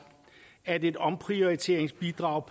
at et omprioriteringsbidrag